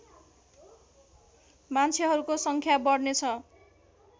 मान्छेहरूको सङ्ख्या बढ्नेछ